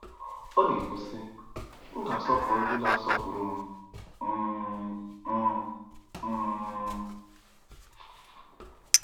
Ọ na-ekwu, sị: “ M ga-asọpụrụ ndị na-asọpụrụ m um. m um.